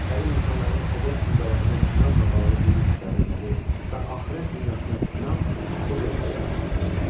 Qədim insanların təbiət qüvvələrinə inancla bağlı dini təsəvvürləri və axirət dünyasına inam bu dövrdə yaranmağa başlamışdı.